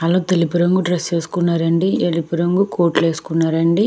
వాళ్లు తెలుపు రంగు డ్రెస్ వేసుకున్నారండి ఎరుపు రంగు కోట్లు వేసుకున్నారండి.